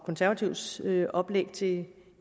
konservatives oplæg til